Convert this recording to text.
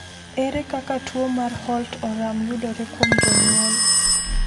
Ere kaka tuwo mar Holt Oram yudore kuom jonyuol?